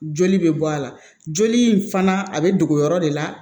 Joli bɛ bɔ a la joli in fana a bɛ dogo yɔrɔ de la